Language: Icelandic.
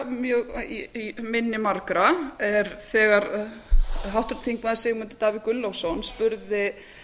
mjög í minni margra er þegar háttvirtur þingmaður sigmundur davíð gunnlaugsson spurði